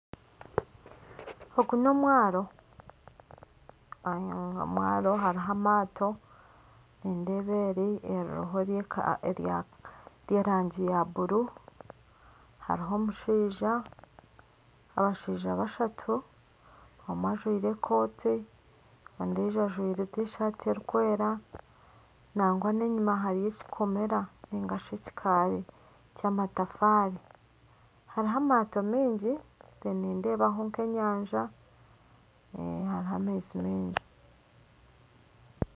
Ogu n'omwaro, n'omwaro hariho amaato, nindeeba eri eririho ery'erangi ya buru, hariho omushaija, abashaija bashatu omwe ajwire ekooti ondiijo ajwire tishati erikwera nangwa n'enyima hariyo ekikomera nari ekikaari ky'amatafaari hariho amaato maingi nindeebaho nk'enyanja hariho amaizi mingi